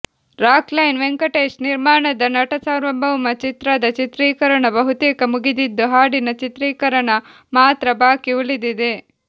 rock line Venkatesh ನಿರ್ಮಾಣದ ನಟಸಾರ್ವಭೌಮ ಚಿತ್ರದ ಚಿತ್ರೀಕರಣ ಬಹುತೇಕ ಮುಗಿದಿದ್ದು ಹಾಡಿನ ಚಿತ್ರೀಕರಣ ಮಾತ್ರ ಬಾಕಿ ಉಳಿದಿದೆ